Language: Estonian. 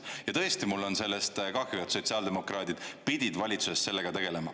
Ja tõesti, mul on sellest kahju, et sotsiaaldemokraadid pidid valitsuses sellega tegelema.